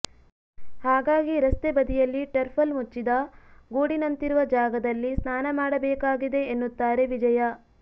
ಹಾಗಾಗಿ ರಸ್ತೆ ಬದಿಯಲ್ಲಿ ಟರ್ಪಲ್ ಮುಚ್ಚಿದ ಗೂಡಿನಂತಿರುವ ಜಾಗದಲ್ಲಿ ಸ್ನಾನ ಮಾಡಬೇಕಾಗಿದೆ ಎನ್ನುತ್ತಾರೆ ವಿಜಯ